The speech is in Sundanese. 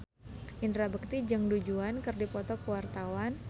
Indra Bekti jeung Du Juan keur dipoto ku wartawan